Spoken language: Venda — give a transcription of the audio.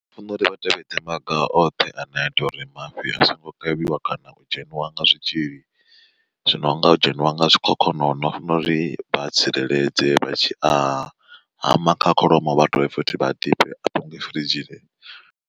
Ndi funa uri vha tevhedze maga oṱhe ane a ita uri mafhi a songo kavhiwa kana u dzheniwa nga zwitzhili. Zwino nga u dzheniwa nga zwikhokhonono funa uri vha tsireledze vha tshi a hama kha kholomo vha dovhe futhi vha tibe a pangiwe firidzhini.